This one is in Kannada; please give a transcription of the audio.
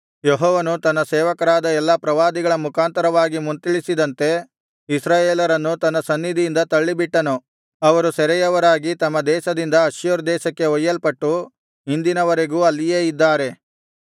ಯೆಹೋವನು ತನ್ನ ಸೇವಕರಾದ ಎಲ್ಲಾ ಪ್ರವಾದಿಗಳ ಮುಖಾಂತರವಾಗಿ ಮುಂತಿಳಿಸಿದಂತೆ ಇಸ್ರಾಯೇಲರನ್ನು ತನ್ನ ಸನ್ನಿಧಿಯಿಂದ ತಳ್ಳಿಬಿಟ್ಟನು ಅವರು ಸೆರೆಯವರಾಗಿ ತಮ್ಮ ದೇಶದಿಂದ ಅಶ್ಶೂರ್ ದೇಶಕ್ಕೆ ಒಯ್ಯಲ್ಪಟ್ಟು ಇಂದಿನವರೆಗೂ ಅಲ್ಲಿಯೇ ಇದ್ದಾರೆ